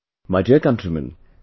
My dear countrymen,